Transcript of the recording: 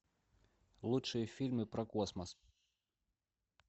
лучшие фильмы про космос